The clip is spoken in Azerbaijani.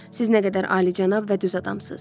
Siz nə qədər alicənab və düz adamsız.